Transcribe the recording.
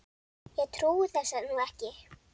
Ég trúi þessu nú ekki!